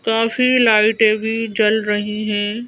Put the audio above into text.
काफी लाइटें भी जल रही हैं।